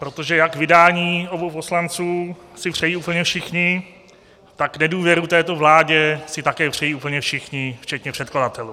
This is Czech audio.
Protože jak vydání obou poslanců si přejí úplně všichni, tak nedůvěru této vládě si také přejí úplně všichni včetně předkladatelů.